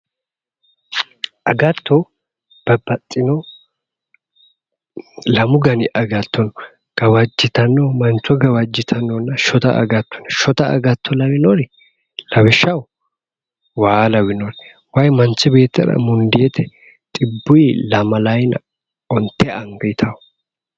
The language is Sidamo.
Agatto Babbaxxino lamu dani agatto no gawajjitanno mancho gawajjitannonna shota agatto no shota agatto lawinori lawishshaho waa lawinori manchi beettira xibbuyi lamalayiina onte anga dawo